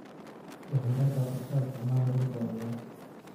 Jahwareerka qorshaha isticmaalka dhulka waa dhibaato.